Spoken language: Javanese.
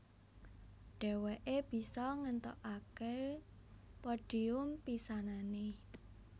Dhèwèké bisa ngèntukaké podhium pisanané